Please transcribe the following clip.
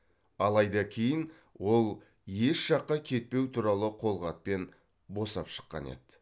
алайда кейін ол еш жаққа кетпеу туралы қолхатпен босап шыққан еді